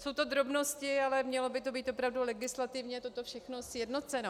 Jsou to drobnosti, ale mělo by to být opravdu legislativně toto všechno sjednoceno.